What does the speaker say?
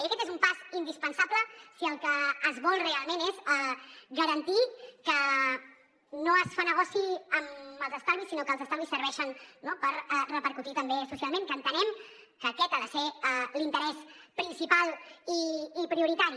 i aquest és un pas indispensable si el que es vol realment és garantir que no es fa negoci amb els estalvis sinó que els estalvis serveixen no per repercutir també socialment que entenem que aquest ha de ser l’interès principal i prioritari